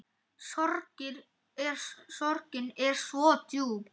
Sorgin er svo djúp.